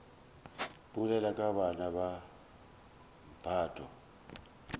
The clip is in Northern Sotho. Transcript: bolela ka bana ba mphato